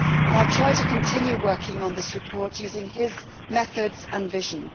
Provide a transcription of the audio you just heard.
I have tried to continue working on this report using his methods and vision.